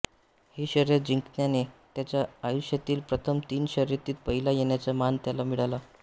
ही शर्यत जिंकण्याने त्याच्या आयुष्यातील प्रथम तीन शर्यतीत पहिला येण्याचा मान त्याला मिळाला